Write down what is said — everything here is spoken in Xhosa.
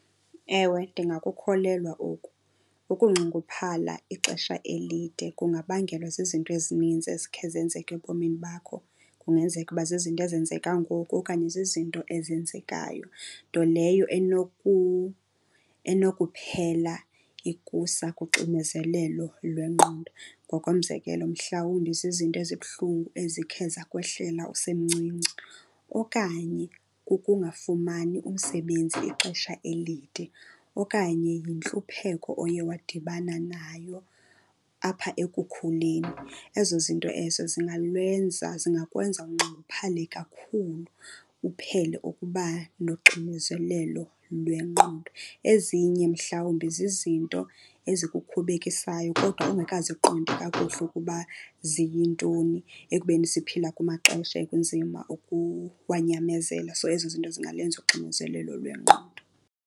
Ewe, ndingakukholelwa oku. Ukunxunguphala ixesha elide kungabangelwa zizinto ezininzi ezikhe zenzeka ebomini bakho. Kungenzeka ukuba zizinto ezenzeka ngoku okanye zizinto ezenzekayo, nto leyo enokuphela ikusa kuxinezelelo lwengqondo. Ngokomzekelo, mhlawumbi zizinto ezibuhlungu ezikhe zakwehlela usemncinci, okanye kukungafumani umsebenzi ixesha elide, okanye yintlupheko oye wadibana nayo apha ekukhuleni. Ezo zinto ezo zingalwenza zingakwenza unxunguphale kakhulu uphele ukuba noxinezelelo lwengqondo. Ezinye mhlawumbi zizinto ezikukhubekisayo kodwa ungekaziqondi kakuhle ukuba ziyintoni, ekubeni siphila kumaxesha ekunzima ukuwanyamezela. So ezo zinto zingalenza uxinezelelo lwengqondo.